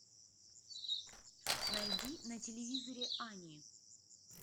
найди на телевизоре ани